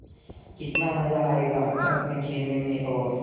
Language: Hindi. कितना मज़ा आयेगा बर्फ़ में खेलने में और